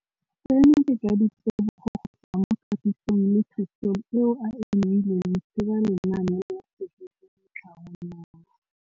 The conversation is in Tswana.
Seno ke ka ditebogo go tswa mo katisong le thu song eo a e neilweng ke ba Lenaane la Tshegetso le Tlhabololo ya